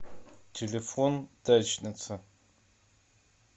телефон дачница